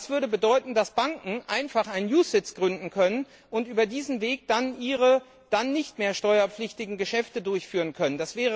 Das würde bedeuten, dass Banken einfach einen OGAW gründen und über diesen Weg ihre dann nicht mehr steuerpflichtigen Geschäfte durchführen könnten.